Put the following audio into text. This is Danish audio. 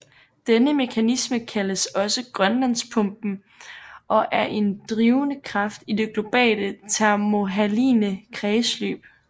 Denne mekanisme kaldes også Grønlandspumpen og er en drivende kraft i det globale thermohaline kredsløb